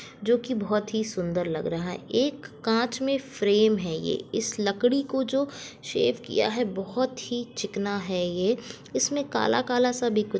जो कि बहुत ही सुंदर लग रहा है एक कांच में फ्रेम है ये इस लकड़ी को जो शेप किया है बहुत ही चिकना है ये इसमे काला -काला सा भी कुछ --